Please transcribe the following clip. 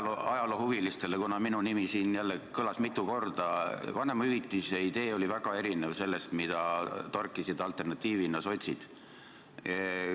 Noortele ajaloohuvilistele ütlen – sest minu nimi kõlas siin jälle mitu korda –, et vanemahüvitise idee oli väga erinev sellest, mida torkisid alternatiivina sotsid.